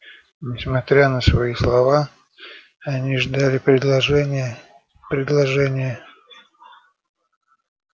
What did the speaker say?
несмотря на свои слова они ждали предложения предложения